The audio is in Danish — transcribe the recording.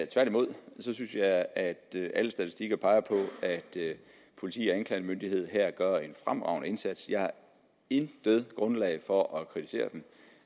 tværtimod synes jeg at alle statistikker peger på at politi og anklagemyndighed her gør en fremragende indsats jeg har intet grundlag for at kritisere dem